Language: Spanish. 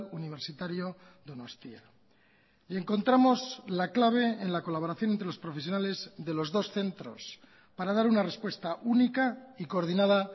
universitario donostia y encontramos la clave en la colaboración entre los profesionales de los dos centros para dar una respuesta única y coordinada